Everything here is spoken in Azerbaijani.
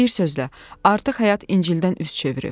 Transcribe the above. Bir sözlə, artıq həyat İncildən üz çevirib.